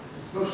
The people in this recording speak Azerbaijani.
Hər şükür.